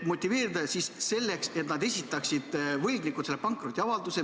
Motiveerida tuleb selleks, et võlgnikud esitaksid pankrotiavalduse.